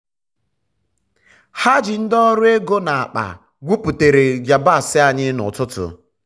ha ji ndi ọrụ ego na akpa gwuputere yabasị anyị n'ọtụtụ.